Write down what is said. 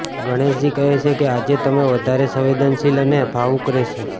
ગણેશજી કહે છે કે આજે તમે વધારે સંવેદનશીલ અને ભાવુક રહેશો